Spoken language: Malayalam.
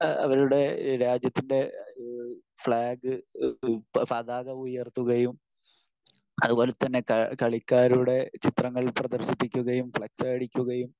അവരുടെ രാജ്യത്തിൻ്റെ ഈഹ് ഫ്ലാഗ് ഇഹ് പതാക ഉയർത്തുകയും അതുപോലതന്നെ കളിക്കാരുടെ ചിത്രങ്ങൾ പ്രദർശിപ്പിക്കുകയും ഫ്ളക്സ് അടിക്കുകയും